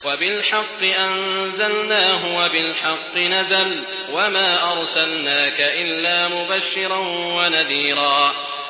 وَبِالْحَقِّ أَنزَلْنَاهُ وَبِالْحَقِّ نَزَلَ ۗ وَمَا أَرْسَلْنَاكَ إِلَّا مُبَشِّرًا وَنَذِيرًا